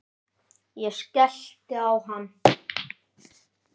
Ég skellti á hann.